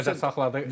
100 deyib.